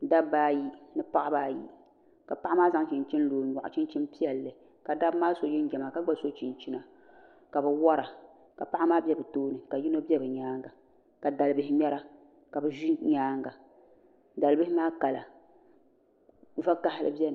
Dabba ayi ni paɣaba ayi ka paɣa maa zaŋ chinchini lo o nyɔɣu chichini piɛlli ka dabba maa so jinjiɛma ka gba so chichina ka bɛ wara ka paɣa maa be bɛ tooni ka yino be bɛ nyaanga ka dalibihi ŋmɛra ka o ʒi nyaanga dali bihi maa kala vakahali biɛni.